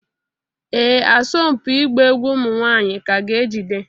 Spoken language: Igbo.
Ee asọmpi ịgba egwu ụmụ nwanyị ka ga-ejide